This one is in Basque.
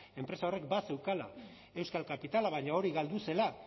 enpresa horrek bazeukala euskal kapitala baina hori galdu zela